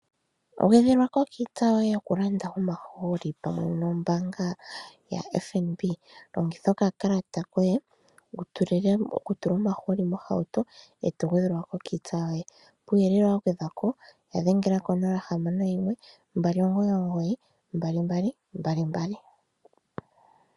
Gwedhelwako kiitsa yoye yokulanda omahooli pamwe nombaanga yaFNB. Longitha okalata koye okutula omahooli mohauto e to gwedhelwa ko kiitsa yoye. Kuuyelele wa gwedhwa po ya dhengele ko061 2992222.